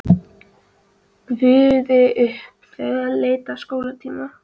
Gufaði upp þegar leið að skólatíma.